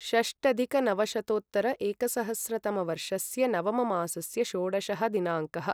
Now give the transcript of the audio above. षष्टधिकनवशतोत्तर एकसहस्रतमवर्षस्य नवम मासस्य षोडशः दिनाङ्कः